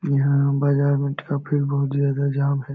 यहां बाजार में ट्रैफिक बहुत ज्यादा जाम है।